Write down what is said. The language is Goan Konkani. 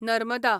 नर्मदा